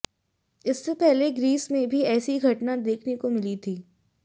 इससे पहले ग्रीस में भी ऐसी घटना देखने को मिली थी